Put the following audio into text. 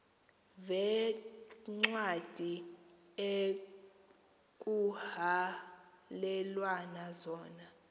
veencwadi ekuhhalelwana zona